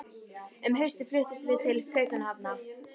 Um haustið fluttumst við til Kaupmannahafnar.